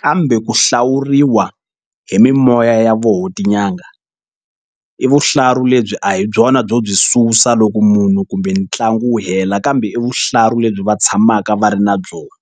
kambe ku hlawuriwa hi mimoya ya vona tin'anga i vuhlalu lebyi a hi byona byo byi susa loko munhu kumbe ntlangu wu hela kambe i vuhlalu lebyi va tshamaka va ri na byona.